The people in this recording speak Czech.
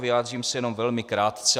Vyjádřím se jenom velmi krátce.